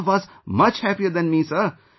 My mother was much happier than me, sir